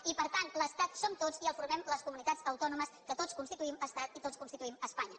i per tant l’estat som tots i el formem les comunitats autònomes que tots constituïm estat i tots constituïm espanya